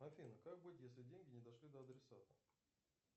афина как быть если деньги не дошли до адресата